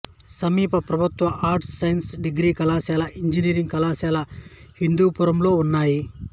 సమీప ప్రభుత్వ arts science degree కళాశాల ఇంజనీరింగ్ కళాశాల హిందూపురంలో ఉన్నాయి